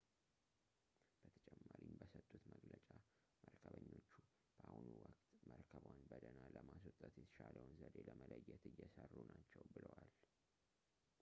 በተጨማሪም በሰጡት መግለጫ መርከበኞቹ በአሁኑ ወቅት መርከቧን በደህና ለማስወጣት የተሻለውን ዘዴ ለመለየት እየሰሩ ናቸው ብለዋል